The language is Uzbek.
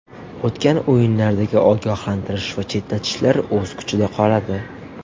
O‘tgan o‘yinlardagi ogohlantirish va chetlatishlar o‘z kuchida qoladi.